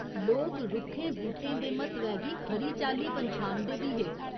लोक रुक्खें बूह्टें दे म्हत्तवै गी खरी चाल्ली पन्छानदे बी हे।